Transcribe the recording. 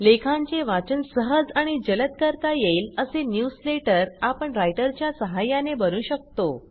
लेखांचे वाचन सहज आणि जलद करता येईल असे न्यूजलेटर आपण रायटरच्या सहाय्याने बनवू शकतो